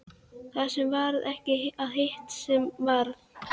Það sem varð ekki og hitt sem varð